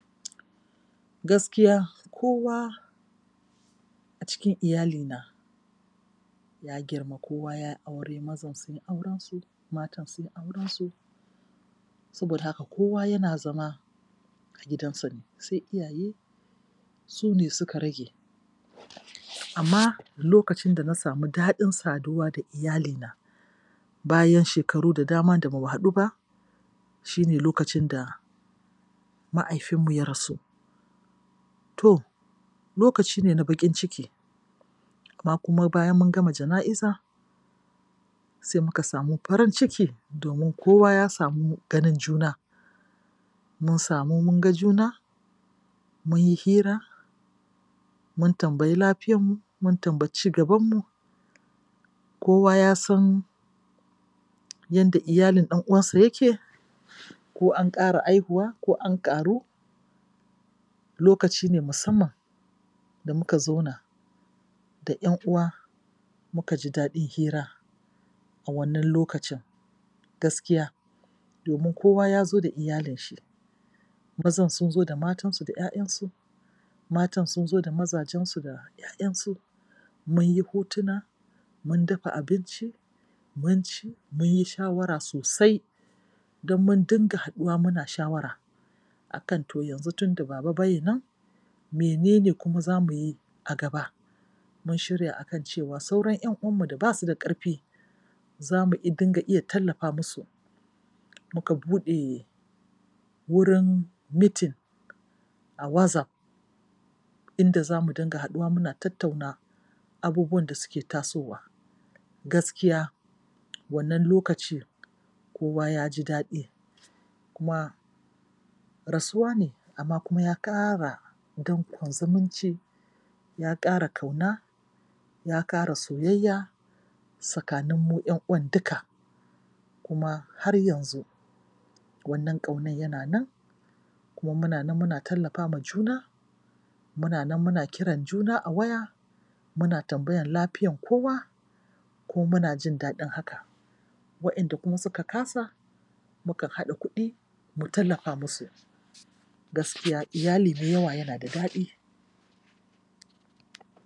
Gakiya a cikin iyalina ya girma, kowa ya yi aure. Mazan sun yi aurensu; matan sun aurensu. Saboda haka kowa yana zama a gidansa ne, sai iyaye--su ne suka rage. Amma lokacin da na samu daɗin saduwa da iyalina bayan shekaru da dama da ba mu haɗu ba shi ne lokacin da mahaifinmu ya rasu. To, lokaci ne na baƙin ciki kuma bayan mun gama jana'iza, sai muka samu farin ciki domi kowa ya samu ganin juna, mun samu mun ga juna, mun yi hira mun tambayi lafiyanmu, mun tambayi cigabanmu. Kowa ya san yanda iyalin ɗan'uwansa yake. ko an ƙara haihuwa ko an ƙaru. Lokaci ne musamman da muka zauna da ƴan'uwa muka ji daɗin hira a wannan lokaci, gaskiya domin kowa ya zo da iyalin shi. Mazan sun zo da matansu da ƴaƴansu; matan sun zo da mazajensu da ƴaƴansu. Mun yi hotuna muin dafa abinci, mun ci, mun yi shawara. a kan to yanzu tunda baba bai nan, menene kuma za mu yi a gaba? Mun shirya a kan cewa sauran ƴan uwanmu da ba su da ƙarfi za mu iya dinga tallafa musu. Muka buɗe wurin mitin Wazaf inda za mu dinga haɗuwa muna tattuna abubuwan da suke tasowa. Gaskiya, wannan lokacin kowa ya ji daɗi Kuma rasuwa ne amma kuma ya ƙara danƙon zumunci ya ƙara ƙauna ya ƙara soyayya tsakanin mu ƴan uwan duka. Kuma har yanzu wannan ƙaunan yana nan kuma muna nan muna tallafa wa juna Muna nan muna kiran juna a waya, muna tambayan lafiyan kowa kuma muna jin daɗin hakan. Waƴanda kuma suka kasa muka haɗa kuɗi mu tallafa musu. Gaskiya iyali da yawa yana da daɗi.